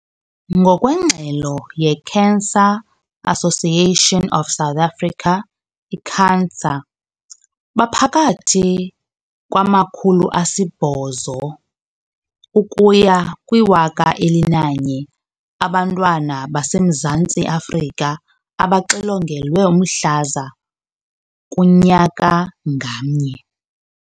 Ngokwengxelo ye-Cancer Association of South Africa, i-CANSA, baphakathi kwama-800 ukuya kwi-1 000 abantwana baseMzantsi Afrika abaxilongelwa umhlaza kunyaka ngamnye.